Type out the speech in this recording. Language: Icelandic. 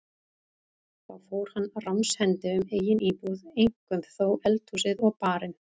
Þá fór hann ránshendi um eigin íbúð, eink- um þó eldhúsið og barinn.